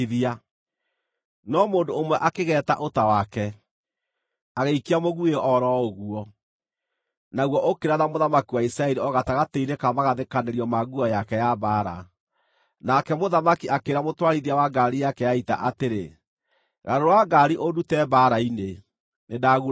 No mũndũ ũmwe akĩgeeta ũta wake, agĩikia mũguĩ o ro ũguo, naguo ũkĩratha mũthamaki wa Isiraeli o gatagatĩ-inĩ ka magathĩkanĩrio ma nguo yake ya mbaara. Nake mũthamaki akĩĩra mũtwarithia wa ngaari yake ya ita atĩrĩ, “Garũra ngaari ũndute mbaara-inĩ. Nĩndagurario.”